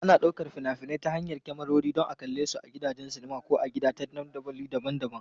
Ana ɗaukar fina-finai ta hanyar kyamarori don a kalle su a gidajen sinima ko a gida ta dandamali daban-daban.